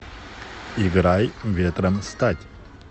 играй ветром стать